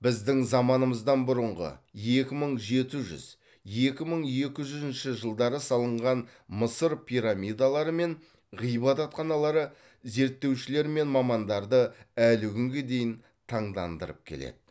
біздің заманымыздан бұрынғы екі мың жеті жүз екі мың екі жүзінші жылдары салынған мысыр пирамидалары мен ғибадатханалары зерттеушілер мен мамандарды әлі күнге дейін таңдандырып келеді